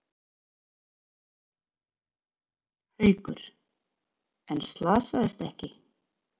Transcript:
Haukur: En slasaðist ekki?